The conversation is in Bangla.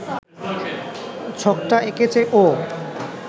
ছকটা এঁকেছে ও